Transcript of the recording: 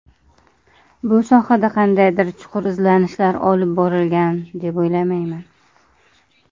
Bu sohada qandaydir chuqur izlanishlar olib borilgan, deb o‘ylamayman.